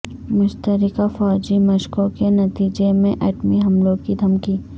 مشترکہ فوجی مشقوں کے نتیجے میں ایٹمی حملوں کی دھمکی